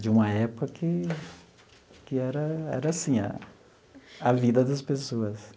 de uma época que que era era assim, a a vida das pessoas.